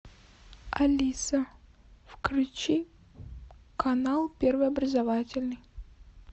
алиса включи канал первый образовательный